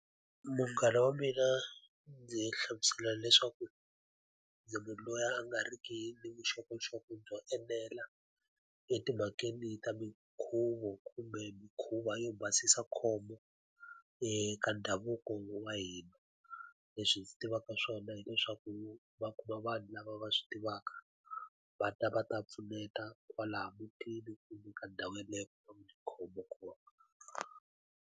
Munghana wa mina ndzi hlamusela leswaku ndzi munhu loyi a nga ri ki ni vuxokoxoko byo enela etimhakeni ta minkhuvo kumbe mikhuva yo basisa khombo, eka ndhavuko wa hina. Leswi hi swi tivaka swona hileswaku va kuma vanhu lava va swi tivaka, va ta va ta pfuneta kwalaya mutini kumbe ka ndhawu yeleyo va ku nga ni khombo kona.